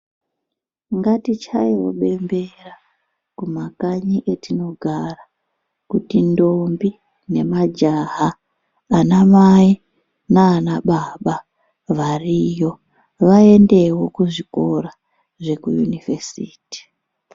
Ngatichayewo bembera kumakanyi etinogara kuti ndombi, nemajaha, anamai naanababa variyo vaendewo kuzvikora zvekuyunivhesiti.